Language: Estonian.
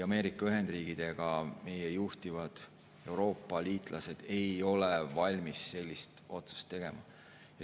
Ameerika Ühendriigid ega meie juhtivad Euroopa liitlased ei ole valmis sellist otsust tegema.